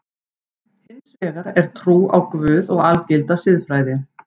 Hins vegar er trú á Guð og algilda siðfræði.